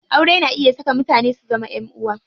Aure na iya haɗa mutane su zama ƴan uwa.